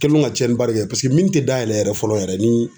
Kɛliw ka cɛnnibali kɛ paseke tɛ dayɛlɛ yɛrɛ fɔlɔ yɛrɛ ni